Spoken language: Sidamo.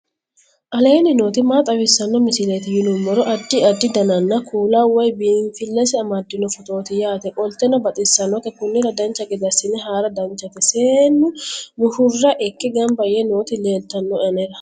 aleenni nooti maa xawisanno misileeti yinummoro addi addi dananna kuula woy biinsille amaddino footooti yaate qoltenno baxissannote konnira dancha gede assine haara danchate seennu mushurra ikke gamba yee nooti leeltannoe anera